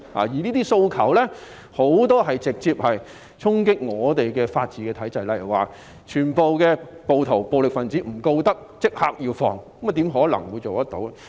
這些訴求很多直接衝擊香港的法治體制，例如不起訴所有暴徒、暴力分子，並立即釋放他們，怎可能做到。